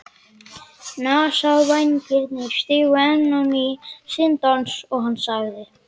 Nasavængirnir stigu enn á ný sinn dans og hann sagði